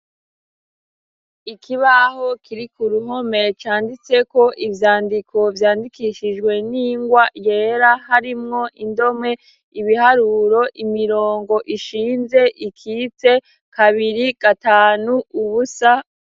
Ikibaho kiri ku uruhome, canditseko ivyandiko vyandikishijwe n'ingwa yera. Harimwo indome, ibiharuro imirongo ishinze, ikitse , kabiri, gatanu, ubusa.